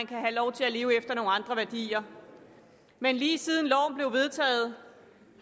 kan have lov til at leve efter nogle andre værdier men lige siden loven blev vedtaget